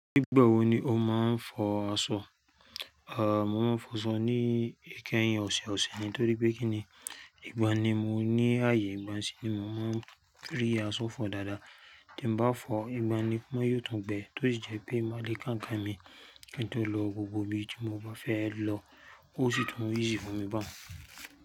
Nígbà wo ni o máa ń fọ aṣọ? A, mo máa ń fọ aṣọ ní ìkẹyìn ọ̀sẹ̀ẹ̀ ọ̀sẹ̀ ni torí pé kíni ìgbà ni mo ní ààyè ńlá sí ní mo máa rí aṣọ fọ dáadáa. Tí mo bá fọ, ìgbà ni ó máa yọ̀tùn bẹ́ẹ̀ tí ó jẹ́ pé máa le kan ń kan mi kí n tó lọ gbogbo ibi tí mo bá fẹ́ lọ ó sì tún easy fún mi bámú.